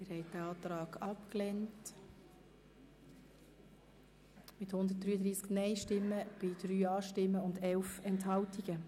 Sie haben den Eventualantrag abgelehnt mit 133 Nein- gegen 3 Ja-Stimmen bei 11 Enthaltungen.